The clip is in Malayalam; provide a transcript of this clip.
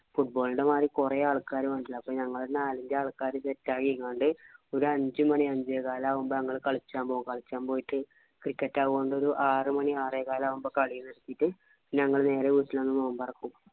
football ന്‍റെ മാരി കൊറെ ആൾക്കാർ വന്നിട്ടില്ല. അപ്പൊ ഞങ്ങൾ നാലഞ്ചു ആള്ക്കാര് സെറ്റ് ആക്കിക്കണ്ട് ഒരു അഞ്ചുമണി അഞ്ചേകാല് ആവുമ്പോൾ ഞങ്ങൾ കളിക്കാൻ പോകും. കളിക്കാൻ പോയിട്ട് cricket ആവോണ്ട് ആറുമണി ആറേകാലാകുമ്പോൾ കളി നിർത്തിയിട്ട് ഞങ്ങൾ നേരെ വീട്ടിൽ വന്ന് നോമ്പിറക്കും.